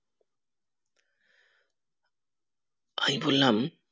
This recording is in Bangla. আমি বললাম